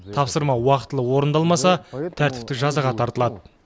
тапсырма уақытылы орындалмаса тәртіптік жазаға тартылады